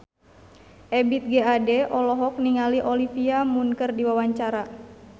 Ebith G. Ade olohok ningali Olivia Munn keur diwawancara